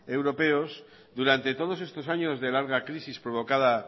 europeos durante todos estos años de larga crisis provocada